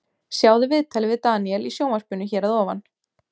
Sjáðu viðtalið við Daníel í sjónvarpinu hér að ofan.